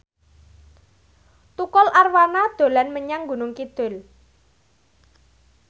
Tukul Arwana dolan menyang Gunung Kidul